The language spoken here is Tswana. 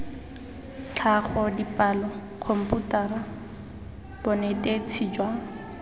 tlhago dipalo khomputara bonetetshi jwa